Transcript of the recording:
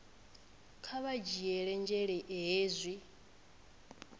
kha vha dzhiele nzhele hezwi